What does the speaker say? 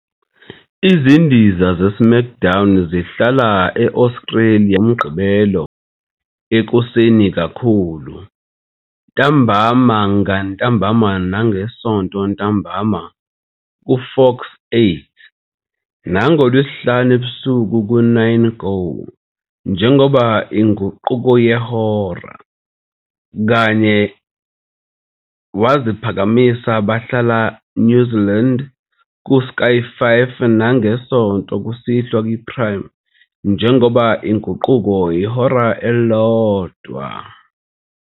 Izindiza zeSmackDown zihlala e-Australia ngoMgqibelo ekuseni kakhulu, ntambama ngantambama nangeSonto ntambama kuFox8 nangoLwesihlanu ebusuku ku- 9Go! njengoba inguqulo yehora, kanye waziphakamisa bahlala New Zealand ku Sky 5 nangeSonto kusihlwa kwi Prime njengoba inguqulo ihora elilodwa.